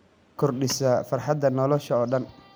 Waxay kordhisaa farxadda nolosha oo dhan.